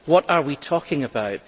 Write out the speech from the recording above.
What are we talking about?